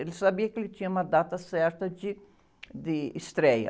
Ele sabia que ele tinha uma data certa de, de estreia.